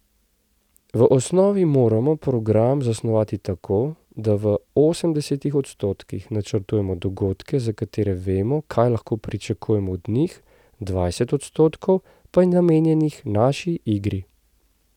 V osnovi moramo program zasnovati tako, da v osemdesetih odstotkih načrtujemo dogodke, za katere vemo, kaj lahko pričakujemo od njih, dvajset odstotkov pa je namenjenih naši igri.